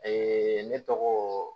ne tɔgɔ